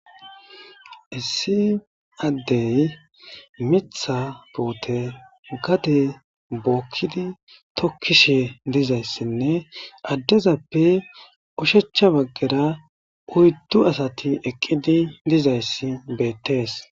Issi addey mitha poote gade bookkidi tokkishe dizayssinne addezappe ushechcha baggera uyddu asati eqqidi dizayssi beettees